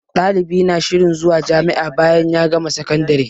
Ɗalibi na shirin zuwa jami'a bayan ya gama sakandire